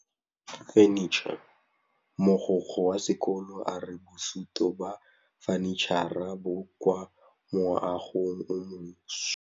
Mogokgo wa sekolo a re bosutô ba fanitšhara bo kwa moagong o mošwa.